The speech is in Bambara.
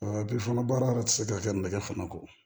Bi fana baara yɛrɛ ti se ka kɛ nɛgɛ fana kɔ